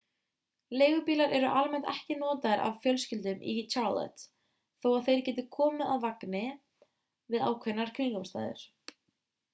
leigubílar eru almennt ekki notaðir af fjölskyldum í charlotte þó að þeir geti komið að gagni við ákveðnar kringumstæður